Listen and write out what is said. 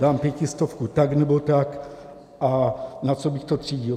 Dám pětistovku tak nebo tak a na co bych to třídil?